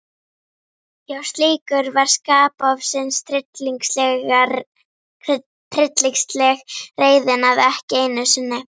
Já, slíkur var skapofsinn, tryllingsleg reiðin, að ekki einu sinni